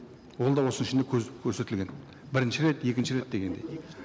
ол да осының ішінде көрсетілген бірінші рет екінші рет дегендей